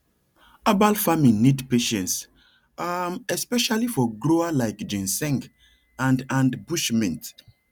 herbal farming need patience um especially for slow grower like ginseng and and bush mint